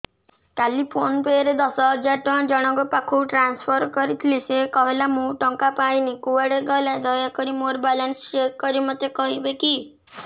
କାଲି PhonePe ରେ ଦଶ ହଜାର ଟଙ୍କା ଜଣକ ପାଖକୁ ଟ୍ରାନ୍ସଫର୍ କରିଥିଲି ସେ କହିଲା ମୁଁ ଟଙ୍କା ପାଇନି କୁଆଡେ ଗଲା ଦୟାକରି ମୋର ବାଲାନ୍ସ ଚେକ୍ କରି ମୋତେ କହିବେ କି